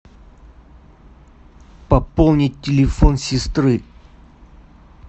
пополнить телефон сестры